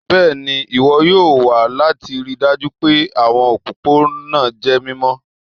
Bẹẹni, iwọn yoo wa lati rii daju pe awọn opopona jẹ mimọ